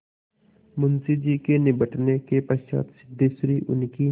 मुंशी जी के निबटने के पश्चात सिद्धेश्वरी उनकी